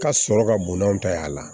Ka sɔrɔ ka bon n'a ta ye a la